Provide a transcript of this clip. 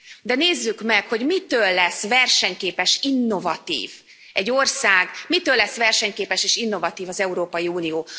De nézzük meg, hogy mitől lesz versenyképes, innovatív egy ország, mitől lesz versenyképes és innovatív az Európai Unió?